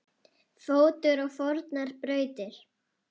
fótur á fornar brautir